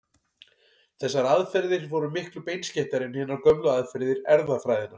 Þessar aðferðir voru miklu beinskeyttari en hinar gömlu aðferðir erfðafræðinnar.